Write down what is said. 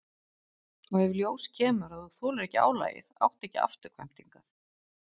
Og ef í ljós kemur að þú þolir ekki álagið áttu ekki afturkvæmt hingað.